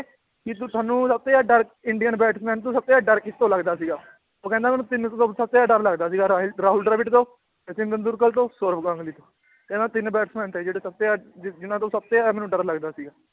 ਵੀ ਤ~ ਤੁਹਾਨੂੰ ਸਭ ਤੋਂ ਜ਼ਿਆਦਾ ਡਰ ਇੰਡੀਅਨ batsman ਤੋਂ ਸਭ ਤੋਂ ਜ਼ਿਆਦਾ ਡਰ ਕਿਸ ਤੋਂ ਲੱਗਦਾ ਸੀਗਾ ਉਹ ਕਹਿੰਦਾ ਮੈਨੂੰ ਤਿੰਨ ਤੋਂ ਸ~ ਸਭ ਤੋਂ ਜ਼ਿਆਦਾ ਡਰ ਲੱਗਦਾ ਸੀਗਾ, ਰਾਹ~ ਰਾਹੁਲ ਦਰਵਿੜ ਤੋਂ, ਸਚਿਨ ਤੈਂਦੁਲਕਰ ਤੋਂ, ਸੋਰਵ ਗਾਂਗੁਲੀ ਤੋਂ ਕਹਿੰਦਾ ਤਿੰਨ batsman ਥੇ ਜਿਹੜੇ ਸਭ ਤੋਂ ਜ਼ਿਆਦਾ ਜ~ ਜਿਹਨਾਂ ਤੋਂ ਸਭ ਤੋਂ ਜ਼ਿਆਦਾ ਮੈਨੂੰ ਡਰ ਲੱਗਦਾ ਸੀ